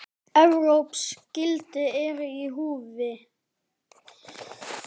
Evrópsk gildi eru í húfi.